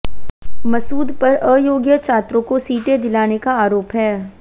मसूद पर अयोग्य छात्रों को सीटें दिलाने का आरोप है